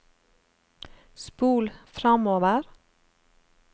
spol framover